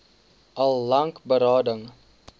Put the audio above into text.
al lank berading